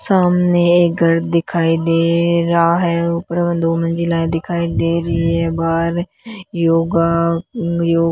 सामने एक घर दिखाई दे रहा है ऊपर मे दो मंजिलायें दिखाई दे रही है बाहर योगा उंगरीयो --